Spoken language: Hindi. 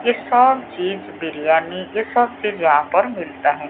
ये सब चीज बिरयानी ये सब चीज यहां पर मिलता है।